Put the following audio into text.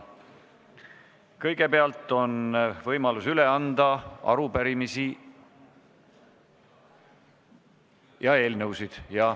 Kõigepealt on võimalus üle anda arupärimisi ja eelnõusid.